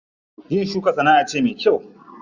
Yin shuka sana'a ce me kyau.